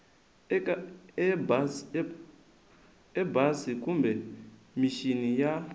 eka embasi kumbe mixini ya